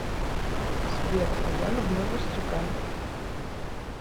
сбер а я люблю расстегай